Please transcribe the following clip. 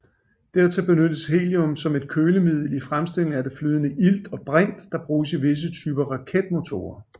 Dertil benyttes helium som kølemiddel i fremstillingen af det flydende ilt og brint der bruges i visse typer raketmotorer